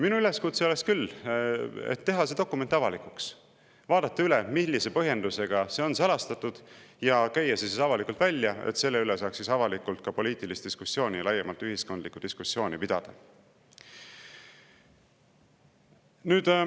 Minu üleskutse on küll teha see dokument avalikuks, vaadata üle, millise põhjendusega see on salastatud, ja käia see avalikult välja, et selle üle saaks pidada avalikult ka poliitilist diskussiooni, laiemat ühiskondlikku diskussiooni.